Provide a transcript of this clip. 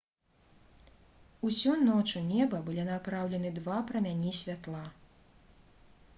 усю ноч у неба былі напраўлены два прамяні святла